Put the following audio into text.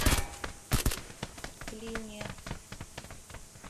клине